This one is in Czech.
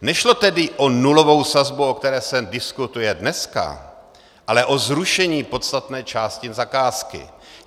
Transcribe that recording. Nešlo tedy o nulovou sazbu, o které se diskutuje dneska, ale o zrušení podstatné části zakázky.